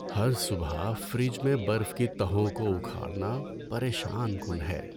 ہر صبح فریج میں برف کی تہوں کو اکھاڑنا پریشان کن ہے۔